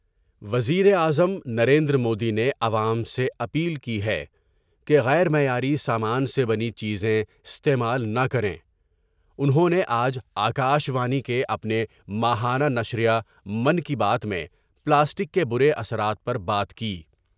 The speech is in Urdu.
وز یر اعظم نریندرمودی نے عوام سے اپیل کی ہے کہ غیر معیاری سامان سے بنی چیز میں استعمال نہ کریں انہوں نے آج اکاشوانی کے اپنے ماہانہ نشرِیہ کی بات میں پلاسٹک کے برے اثرات پر بات کی ۔